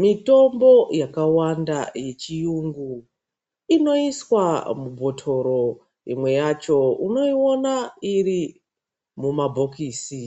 Mitombo yakawanda yechiyungu inoiswa mubhotoro imwe yacho unoiona iri mumabhokisi